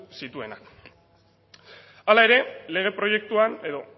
zituena hala ere lege proiektuan edo